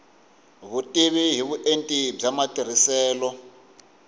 vutivi hi vuenti bya matirhiselo